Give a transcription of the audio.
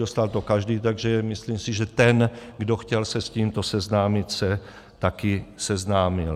Dostal to každý, takže si myslím, že ten, kdo chtěl se s tímto seznámit, se taky seznámil.